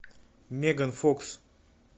меган фокс